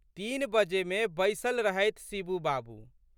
तीन बजेमे बैसल रहथि शिबू बाबू।